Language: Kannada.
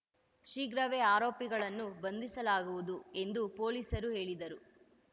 ಶೀಘ್ರವೇ ಆರೋಪಿಗಳನ್ನು ಬಂಧಿಸಲಾಗುವುದು ಎಂದು ಪೊಲೀಸರು ಹೇಳಿದರು